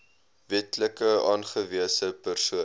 wetlik aangewese persoon